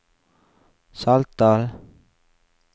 Saltdal